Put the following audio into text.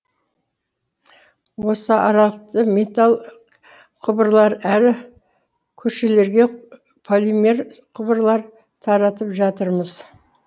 осы аралықты металл құбырлар аәрі көшелерге полимер құбырлар таратып жатырмыз